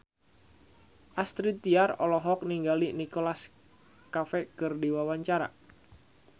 Astrid Tiar olohok ningali Nicholas Cafe keur diwawancara